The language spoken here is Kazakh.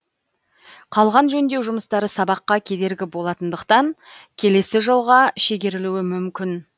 қалған жөндеу жұмыстары сабаққа кедергі болатындықтан келесі жылға шегерілуі мүмкін